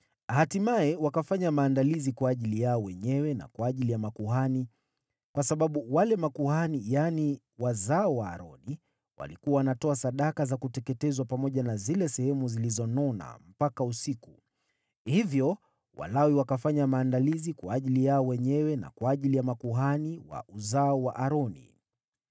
Hatimaye wakafanya maandalizi kwa ajili yao wenyewe na kwa ajili ya makuhani, kwa sababu wale makuhani, yaani, wazao wa Aroni, walikuwa wanatoa sadaka za kuteketezwa pamoja na zile sehemu zilizonona mpaka usiku. Hivyo Walawi wakafanya maandalizi kwa ajili yao wenyewe na kwa ajili ya makuhani wa uzao wa Aroni.